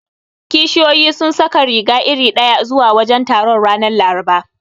Kishiyoyin sun saka riga iri ɗaya zuwa wajen taron, ranar Laraba.